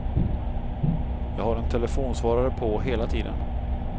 Jag har en telefonsvarare på hela tiden.